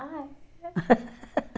Ah, é?